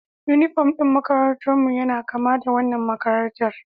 Unifom ɗin makarantarmu yana kama da wannan makarantar